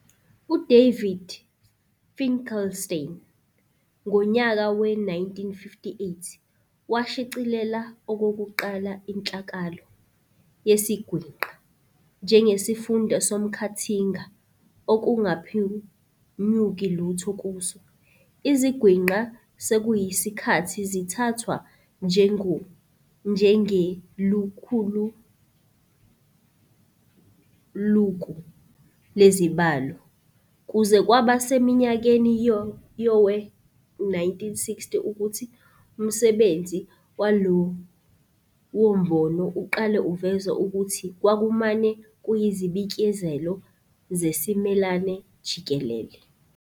U-David Finkelstein, ngonyaka we-1958, washicilela okokuqala inhlakahlo "yesiGwinqa" njengesifunda somkhathinga okungaphunyuki lutho kuso. Izigwinqa sekuyisikhathi zithathwa njengelukuluku lezibalo, kuze kwaba seminyakeni yowe-1960 ukuthi umsebenzi walowombono uqale uveze ukuthi kwakumane kuyizibikezelo zesimelana jikelele.